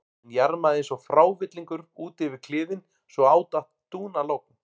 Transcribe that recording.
Hann jarmaði eins og frávillingur út yfir kliðinn svo á datt dúnalogn.